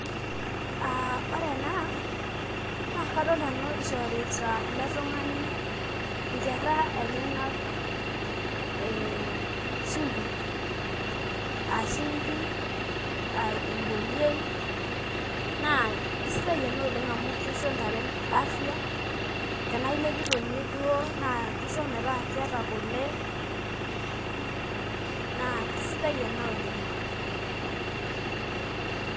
Ah ore ena, na kadol nanu ishorita ele tung'ani inkerra enyanak eh shimbi. Ah shimbi, ah eboliei, naa kesidai ena oleng amu kisho ntare afya, tenaa ilepito nye duo na kisho metaa keeta kule, naa kisidai ena oleng'.